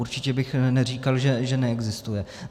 Určitě bych neříkal, že neexistuje.